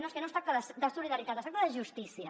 no és que no es tracta de solidaritat es tracta de justícia